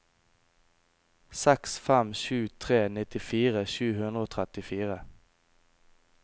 seks fem sju tre nittifire sju hundre og trettifire